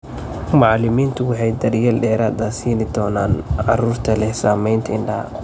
Macallimiintu waxay daryeel dheeraad ah siin doonaan carruurta leh saamaynta indhaha.